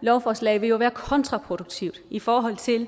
lovforslag vil jo være kontraproduktivt i forhold til